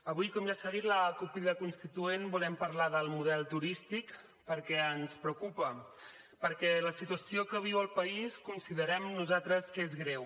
avui com ja s’ha dit la cup crida constituent volem parlar del model turístic perquè ens preocupa perquè la situació que viu el país considerem nosaltres que és greu